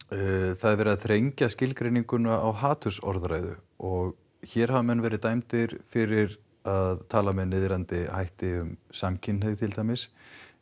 það er verið að þrengja skilgreininguna á hatursorðræðu og hér hafa menn verið dæmdir fyrir að tala með niðrandi hætti um samkynhneigð til dæmis